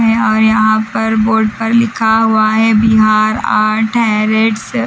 है और यहाँ पर बोर्ड पर लिखा हुआ है बिहार आर्ट हैरेट्स --